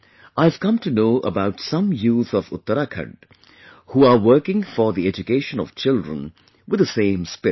I have come to know about some youth of Uttarakhand, who are working for the education of children with the same spirit